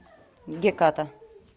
геката